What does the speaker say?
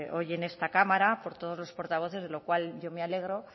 hoy en esta cámara por todos los portavoces de lo cual yo me alegro